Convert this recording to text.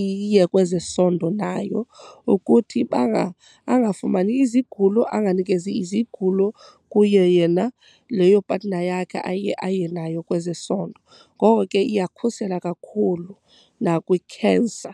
iye kwezesondo nayo ukuthi angafumani izigulo, anganikezi izigulo kuye yena leyo partner yakhe aye aye nayo kwezesondo. Ngoko ke iyakhusela kakhulu nakwikhensa.